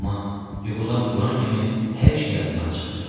Amma yuxudan duran kimi hər şey yadımdan çıxır.